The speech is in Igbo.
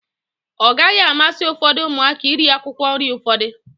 Ọ gaghi amasi ufodu umuaka iri akwụkwọ nri ufodu.